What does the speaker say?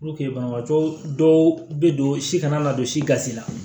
banabaatɔ dɔw bɛ don si kana na don si gasi la